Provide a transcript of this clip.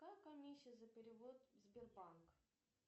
какая комиссия за перевод в сбербанк